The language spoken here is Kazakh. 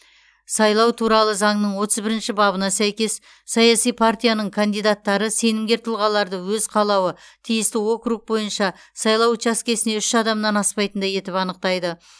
сайлау туралы заңның отыз бірінші бабына сәйкес саяси партияның кандидаттары сенімгер тұлғаларды өз қалауы тиісті округ бойынша сайлау учаскесіне үш адамнан аспайтындай етіп анықтайды